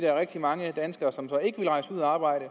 er rigtig mange danskere som så ikke vil rejse ud at arbejde